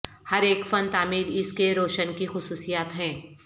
ہر ایک فن تعمیر اس کے روشن کی خصوصیات ہیں